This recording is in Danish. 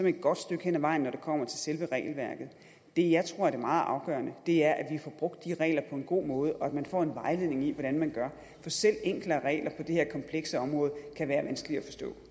et godt stykke hen ad vejen når det kommer til selve regelværket det jeg tror er det meget afgørende er at vi får brugt de regler på en god måde og at man får en vejledning i hvordan man gør for selv enklere regler på det her komplekse område kan være vanskelige